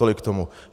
Tolik k tomu.